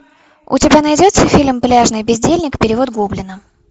у тебя найдется фильм пляжный бездельник перевод гоблина